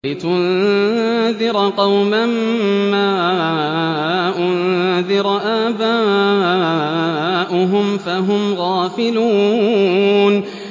لِتُنذِرَ قَوْمًا مَّا أُنذِرَ آبَاؤُهُمْ فَهُمْ غَافِلُونَ